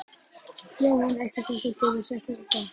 Jóhann: Eitthvað sem þú getur sagt okkur frá?